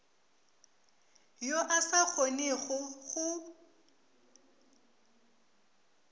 yo a sa kgonego go